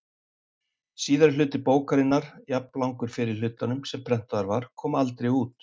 Síðari hluti bókarinnar, jafnlangur fyrri hlutanum sem prentaður var, kom aldrei út.